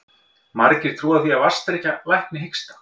Margir trúa því að vatnsdrykkja lækni hiksta.